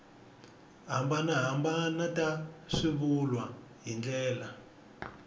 hambanahambana ta swivulwa hi ndlela